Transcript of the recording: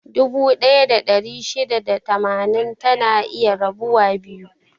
Dubu ɗaya da ɗari shida da tamanin, tana iya rabuwa biyu.